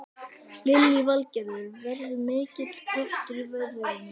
Lillý Valgerður: Verður mikill kraftur í veðrinu?